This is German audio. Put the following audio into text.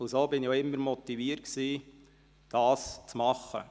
So war ich auch immer motiviert, dies zu tun.